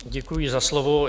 Děkuji za slovo.